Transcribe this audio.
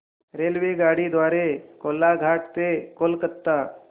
रेल्वेगाडी द्वारे कोलाघाट ते कोलकता